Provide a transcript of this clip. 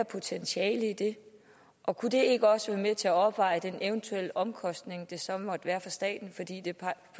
potentiale i det og kunne det ikke også være med til at opveje den eventuelle omkostning det så måtte være for staten fordi det på